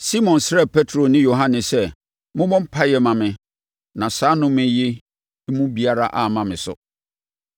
Simon srɛɛ Petro ne Yohane sɛ, “Mommɔ mpaeɛ mma me na saa nnome yi mu biara amma me so.”